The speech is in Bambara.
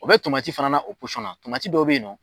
O bɛ fana na o dɔw be yen nɔ